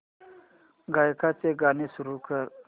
गायकाचे गाणे सुरू कर